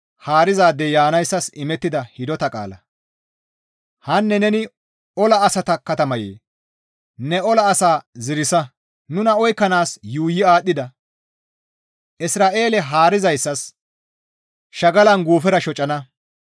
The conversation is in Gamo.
Hanne neni ola asata katamaye, ne ola asaa ziirsa. Nuna oykkanaas yuuyi aadhdhida; Isra7eele haarizayssas shagalan guufera shocana.